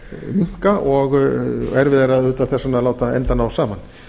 minnka og erfiðara auðvitað þess vegna að láta enda ná saman